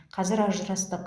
қазір ажырастық